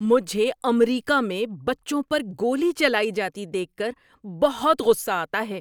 مجھے امریکہ میں بچوں پر گولی چلائی جاتی دیکھ کر بہت غصہ آتا ہے۔